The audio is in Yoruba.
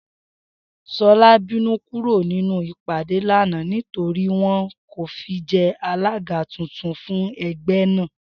S̩o̩lá bínú kúrò nínú ìpàdé lánàá nítorí wo̩n kò fi je̩ alága tuntun fún e̩gbé̩ náà